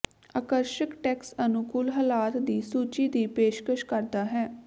ਆਕਰਸ਼ਕ ਟੈਕਸ ਅਨੁਕੂਲ ਹਾਲਾਤ ਦੀ ਸੂਚੀ ਦੀ ਪੇਸ਼ਕਸ਼ ਕਰਦਾ ਹੈ